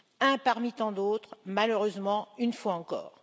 Un parmi tant d'autres, malheureusement, une fois encore.